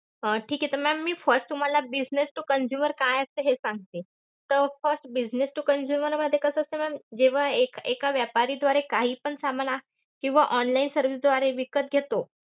हा, ठीक आहे. तर ma'am. मी first तुम्हाला business to consumer काय असतं हे सांगते. तर first business to consumer मध्ये कसं असतं ma'am जेव्हा एक~ एका व्यापारीद्वारे काहीपण सामान अं किंवा online service द्वारे विकत घेतो,